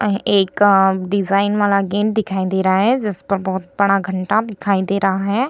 एक अ डिजाइन वाला गेट दिखाई दे रहा है जिसपर बहुत बड़ा घंटा दिखाई दे रहा है ।